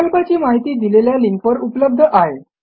प्रकल्पाची माहिती दिलेल्या लिंकवर उपलब्ध आहे